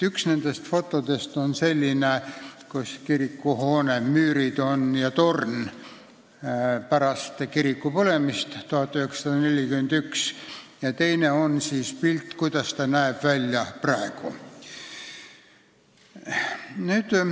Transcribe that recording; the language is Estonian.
Ühel fotodest on näha kirikuhoone müürid ja torn pärast kiriku põlemist aastal 1941, ja teine on pilt, kuidas hoone näeb välja praegu.